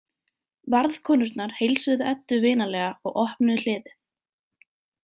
Varðkonurnar heilsuðu Eddu vinalega og opnuðu hliðið.